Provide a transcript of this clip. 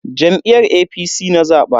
Jam'iyyar APC na zaba.